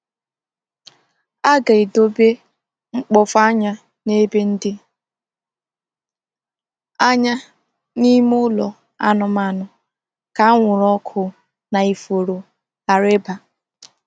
A ga-edobe mkpofu anya n’ebe dị anya n’ime ụlọ anụmanụ ka anwụrụ ọkụ na ifuru ghara ịba.